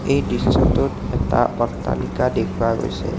এই দৃশ্যটোত এটা অট্টালিকা দেখুৱা গৈছে।